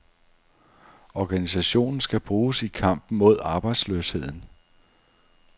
Organisationen skal bruges i kampen mod arbejdsløsheden.